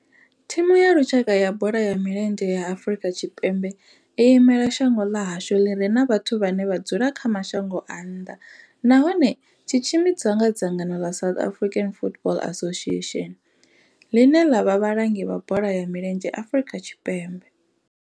Thimu ya lushaka ya bola ya milenzhe ya Afrika Tshipembe i imela shango ḽa hashu ḽi re na vhathu vhane vha dzula kha mashango a nnḓa nahone tshi tshimbidzwa nga dzangano ḽa South African Football Association, ḽine ḽa vha vhalangi vha bola ya milenzhe Afrika Tshipembe.